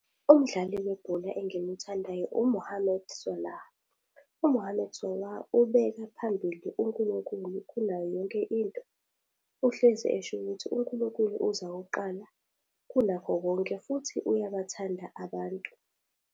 Umdlali webhola engimuthandayo u-Mohammed Salah. U-Mohammed Salah ubeka phambili uNkulunkulu kunayo yonke into. Uhlezi esho ukuthi uNkulunkulu uza kuqala kunakho konke futhi uyabathanda abantu.